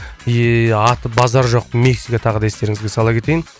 аты базар жоқ мексика тағы да естеріңізге сала кетейін